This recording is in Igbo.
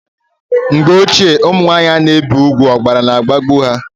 Mgbe ochie ụmụnwanyị ana ebi ùgwù ọbara na agbagbu ha